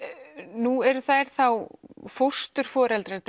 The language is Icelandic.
nú eru þau fósturforeldrar